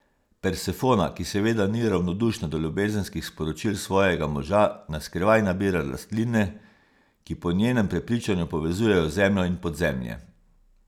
Persefona, ki seveda ni ravnodušna do ljubezenskih sporočil svojega moža, na skrivaj nabira rastline, ki po njenem prepričanju povezujejo zemljo in podzemlje.